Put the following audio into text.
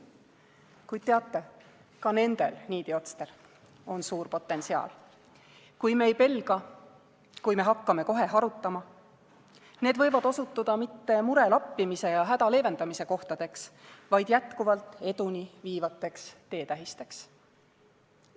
Kuid teate, ka nendel niidiotstel on suur potentsiaal: kui me ei pelga, kui me hakkame kohe harutama, võivad need osutuda mitte mure lappimise ja häda leevendamise kohtadeks, vaid jätkuva eduni viivateks teetähisteks.